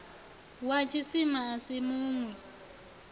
wa tshisima a si munwi